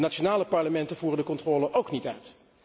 De nationale parlementen voeren de controle ook niet uit.